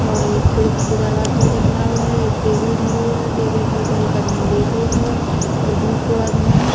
और एक खिड़की को दरवाजा दिख रहो है एक टेबल धरो है। टेबल के ऊपर एक आदमी लेटो है और दुसरो आदमी --